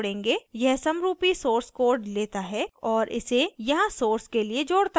यह समरुपी source code लेता है और इसे यहाँ source के लिए जोडता है